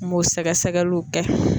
N b'o sɛgɛsɛgɛliw kɛ.